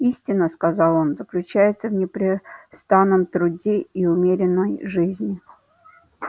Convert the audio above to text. истина сказал он заключается в непрестанном труде и умеренной жизни